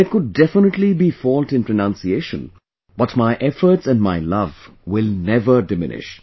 There could definitely be fault in pronunciation but my efforts and my love will never diminish